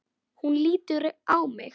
Hún lítur á mig.